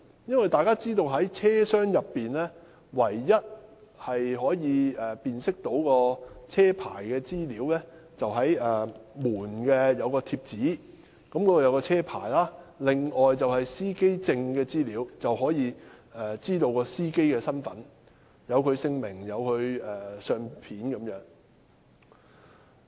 大家都知道，車內唯一可供辨識車牌的資料，是車門上載有車牌號碼的貼紙；乘客如要知悉司機的身份，則須靠載有司機姓名及相片的司機證。